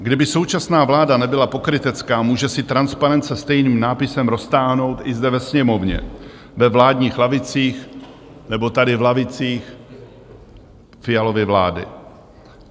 Kdyby současná vláda nebyla pokrytecká, může si transparent se stejným nápisem roztáhnout i zde ve Sněmovně, ve vládních lavicích nebo tady v lavicích Fialovy vlády.